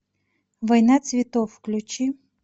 война цветов включи